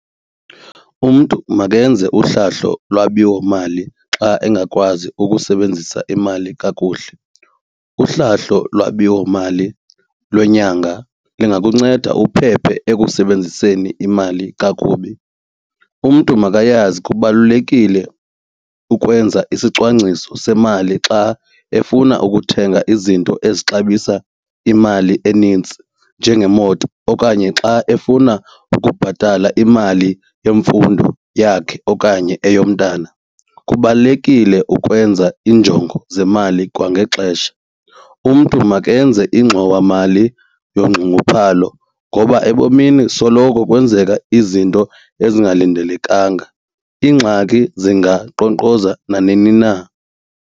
Umntu makenze uhlahlo lwabiwomali xa engakwazi ukusebenzisa imali kakuhle. Uhlahlo lwabiwomali lwenyanga lungakunceda uphephe ekusebenziseni imali kakubi. Umntu makayazi kubalulekile ukwenza isicwangciso semali xa efuna ukuthenga izinto ezixabisa imali enintsi njengemoto okanye xa efuna ukubhatala imali yemfundo yakhe okanye eyomntana. Kubalulekile ukwenza iinjongo zemali kwangexesha. Umntu makenze ingxowamali yongxunguphalo ngoba ebomini soloko kwenzeka izinto ezingalindelekanga, iingxaki zingankqonkqoza nanini na.